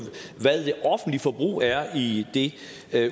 hvad det offentlige forbrug er i det